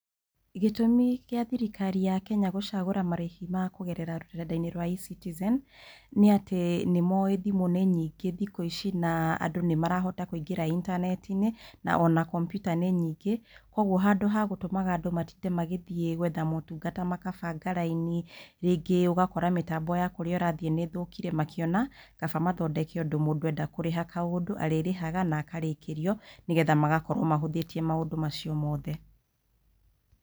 Gĩtũmi kĩa thirikari ya Kenya gũcagũra marĩhi ma kũgerera rũrenda-inĩ rwa eCitizen nĩ atĩ nĩ moĩ thimũ nĩ nyingĩ thikũ ici na andũ nĩ marahota kũingĩra itanetinĩ na ona komputa nĩ nyingĩ, kuoguo handũ ha gũtũmaga andũ matinde magĩthiĩ kũmataha motungata makabanga raini, rĩngĩ mĩtambo ya kũrĩa ũthire nĩ ĩthũkire, makĩona kaba mathondeke ũndũ mũndũ enda kũrĩha kaũndũ, arĩrĩhaga na akarĩkĩrio, nĩ getha magakorwo mahũthĩtie maũndũ macio mothe.